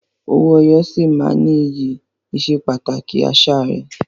Owó ẹyọ sì máa ní iyì ìsepàtàkì àṣà rẹ.